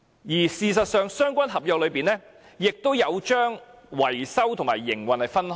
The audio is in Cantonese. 而事實上，在相關合約中，亦有將維修和營運分開。